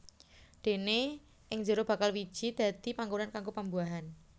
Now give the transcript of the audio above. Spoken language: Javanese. Déné ing jero bakal wiji dadi panggonan kanggo pembuahan